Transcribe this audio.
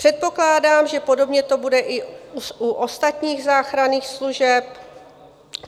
Předpokládám, že podobně to bude i u ostatních záchranných služeb